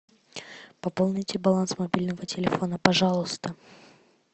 пополните баланс мобильного телефона пожалуйста